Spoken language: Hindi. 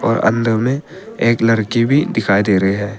और अंदर में एक लड़की भी दिखाई दे रहे है।